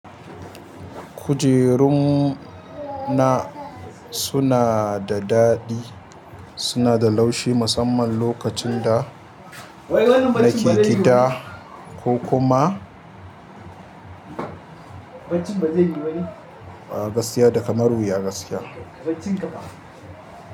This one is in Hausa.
Kujerun na suna da daɗi, suna da laushi musamman lokacin da nake gida ko kuma gaskiya da kamar wuya gaskiya.